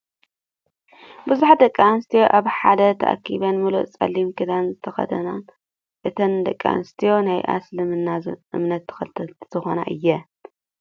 ብዙሓት ደቂ ኣንስትዮ ኣብ ሓደ ተኣኪበን ሙሉእ ፀሊም ክዳን ዝተከደናን እተን ደቂ ኣንስትዮ ናይ እስልምና እምነት ተከተልቲ ዝኮነ እየን ።